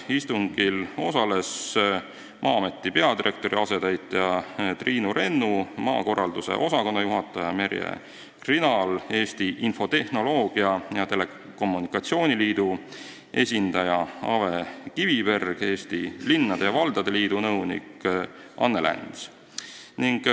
Istungil osalesid Maa-ameti peadirektori asetäitja Triinu Rennu, maakorralduse osakonna juhataja Merje Krinal, Eesti Infotehnoloogia ja Telekommunikatsiooni Liidu esindaja Ave Kiviberg ning Eesti Linnade ja Valdade Liidu nõunik Anne Läns.